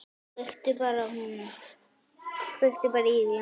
Kveiktu bara í honum.